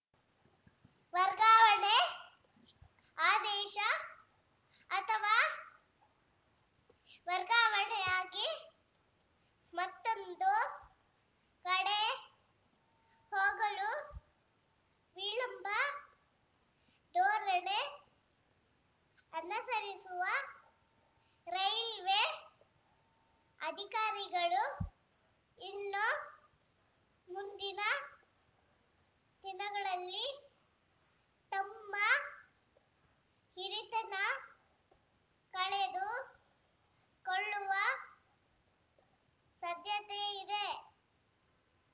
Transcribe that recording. ವರ್ಗಾವಣೆ ಆದೇಶ ಅಥವಾ ವರ್ಗಾವಣೆಯಾಗಿ ಮತ್ತೊಂದು ಕಡೆ ಹೋಗಲು ವಿಳಂಬ ಧೋರಣೆ ಅನಸರಿಸುವ ರೈಲ್ವೆ ಅಧಿಕಾರಿಗಳು ಇನ್ನು ಮುಂದಿನ ದಿನಗಳಲ್ಲಿ ತಮ್ಮ ಹಿರಿತನ ಕಳೆದುಕೊಳ್ಳುವ ಸಾಧ್ಯತೆಯಿದೆ